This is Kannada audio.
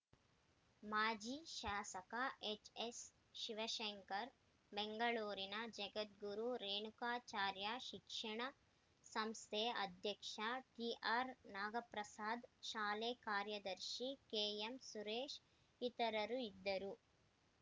ಮಾಜಿ ಶಾಸಕ ಎಚ್‌ಎಸ್‌ಶಿವಸಂಕರ್‌ ಬೆಂಗಳೂರಿನ ಜಗದ್ಗುರು ರೇಣುಕಾಚಾರ್ಯ ಶಿಕ್ಷಣ ಸಂಸ್ಥೆ ಅಧ್ಯಕ್ಷ ಟಿಆರ್‌ನಾಗಪ್ರಸಾದ್‌ ಶಾಲೆ ಕಾರ್ಯದರ್ಶಿ ಕೆಎಂಸುರೇಶ್‌ ಇತರರು ಇದ್ದರು